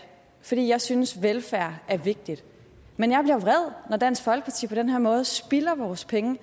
fordi jeg synes velfærd er vigtig men jeg bliver vred når dansk folkeparti på den her måde spilder vores penge